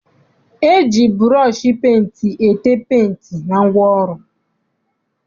E ji bụrọọshị penti ete penti na ngwaọrụ.